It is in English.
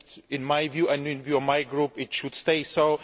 In my view, and in the view of my group, it should stay so.